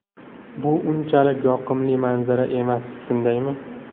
Bu unchalik yoqimli manzara emas, shundaymi?